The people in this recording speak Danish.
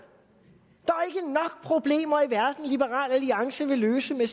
problemer i verden liberal alliance vil løse med